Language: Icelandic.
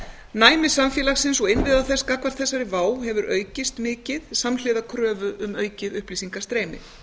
næmi samfélagsins og innviða þess gagnvart þessari vá hefur aukist mikið samhliða kröfu um aukið upplýsingastreymi